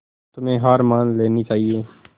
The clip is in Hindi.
तुम्हें हार मान लेनी चाहियें